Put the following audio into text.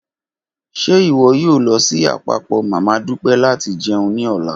Ṣe iwọ yoo lọ si apapọ mama Dupe lati jẹun ni ọla?